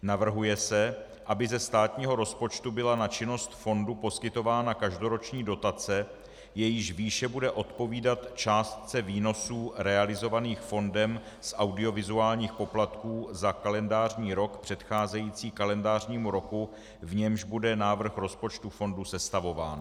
Navrhuje se, aby ze státního rozpočtu byla na činnost fondu poskytována každoroční dotace, jejíž výše bude odpovídat částce výnosů realizovaných fondem z audiovizuálních poplatků za kalendářní rok předcházející kalendářnímu roku, v němž bude návrh rozpočtu fondu sestavován.